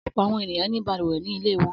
Ọ̀pọ̀ àwọn ènìyàn ní balùwẹ̀ ní ilé wọn.